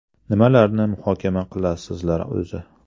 Nimalarni muhokama qilasizlar o‘zi?